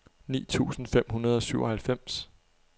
ni tusind fem hundrede og syvoghalvfems